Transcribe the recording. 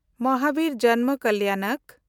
ᱢᱚᱦᱟᱵᱤᱨ ᱡᱟᱱᱢᱟ ᱠᱟᱞᱭᱟᱱᱟᱠ